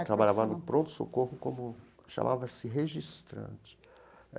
Eu trabalhava no pronto-socorro como... chamava-se registrante é.